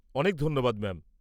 -অনেক ধন্যবাদ ম্যাম।